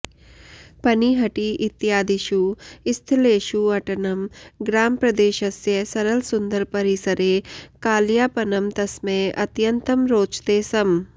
पनिहटि इत्यादिषु स्थलेषु अटनं ग्रामप्रदेशस्य सरलसुन्दरपरिसरे कालयापनं तस्मै अत्यन्तं रोचते स्म